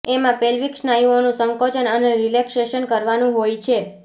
એમાં પેલ્વિક સ્નાયુઓનું સંકોચન અને રિલૅક્સેશન કરવાનું હોય છે